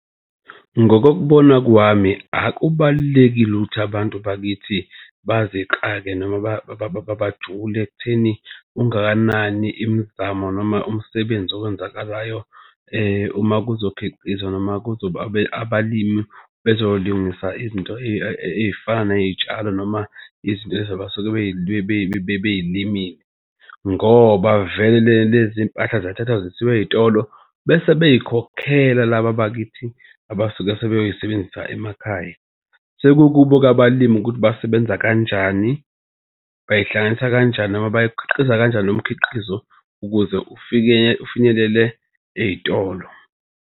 Ngokokubona kwami akubalulekile ukuthi abantu bakithi bazixake noma bajule ekutheni ungakanani imizamo noma umsebenzi okwenzakalayo uma kuzokhiqizwa noma kuzoba abalimi bezolungisa izinto ey'fana ney'tshalo noma izinto lezi abasuke bey'limile ngoba vele lezi mpahla ziyathathwa zisiwa ey'tolo bese bezikhokhela laba bakithi abasuke sebeyosebenzisa emakhaya. Sekukubo-ke abalimi ukuthi basebenza kanjani, bayihlanganisa kanjani noma bayikhiqiza kanjani nomkhiqizo ukuze ufinyelele ey'tolo.